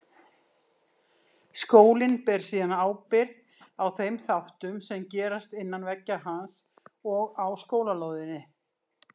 Skólinn ber síðan ábyrgð á þeim þáttum sem gerast innan veggja hans og á skólalóðinni.